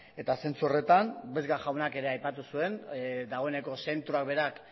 eta zentzu horretan vesga jaunak ere aipatu zuen dagoeneko zentroak berak